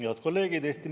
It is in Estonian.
Head kolleegid!